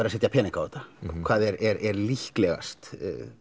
að setja pening á þetta hvað er líklegast